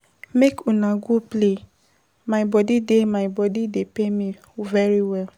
Make una go play, my body dey, my body dey pain me very well.